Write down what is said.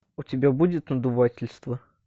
у тебя будет надувательство